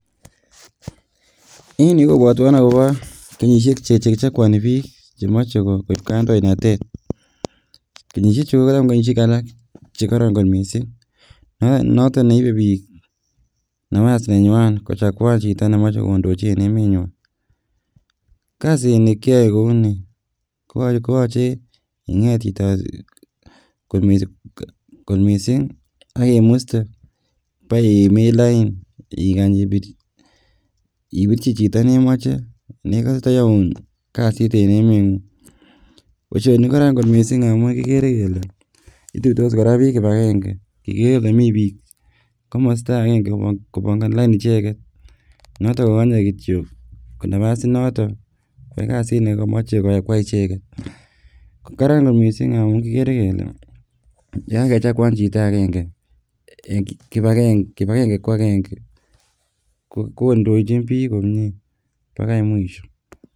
En yuh kobotwon akobo kenyisiek chekichokwoni biik chemoche koib kandoinatet, kenyisiek chu ko kenyisiek che kororon missing, noton neibe biik napas nenywan kochaguan chito nemoche kondochi en emenywan, kasini kiyoe kouni, koyoche Inget chito kot missing yoche imin lain ikany ipirchi chito nemoche nekose tayoun kasit en emengung. Boishoni KO Karan missing ngamun kikere kele ituitos biik kibagenge ikere Ile mii bik komosto agenge kobongoni lain icheket Norton kokonye kityok Napa's inoton eng kasit nekomoche koyai icheget. Karan kot missing ngamun kikere Kele yon kakechaguan chito agenge, kibagenge ko agenge kondochin biik komie bokoi mwisho.